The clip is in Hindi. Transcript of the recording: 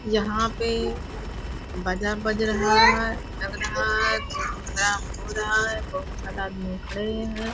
यहाँ पे बाजा बज रहा है लग रहा है कोई प्रोग्राम हो रहा है। बहुत सारा आदमी खड़े हैं।